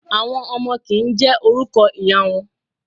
Àwọn ọmọ kì ń jẹ́ orúkọ ìyá wọn.